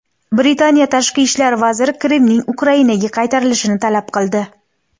Britaniya tashqi ishlar vaziri Qrimning Ukrainaga qaytarilishini talab qildi.